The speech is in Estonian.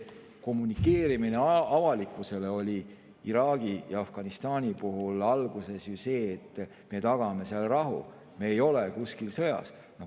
Kommunikeerimine avalikkusele oli Iraagi ja Afganistani puhul alguses ju see, et me tagame seal rahu, me ei ole kuskil sõjas.